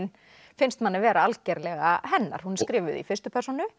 finnst manni vera algerlega hennar hún er skrifuð í fyrstu persónu